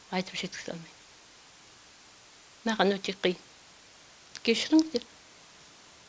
айтып жеткізе аламайм маған өте қиын кешіріңіздер